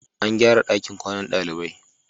An gyara ɗakin kwanan ɗalibai.